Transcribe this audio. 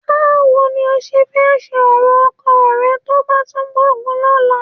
Báwo ni o ṣe fẹ́ ṣe ọ̀rọ̀ ọkọ rẹ tó bá tún gbógun lọ́la?